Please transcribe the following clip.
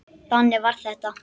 Þannig var þetta.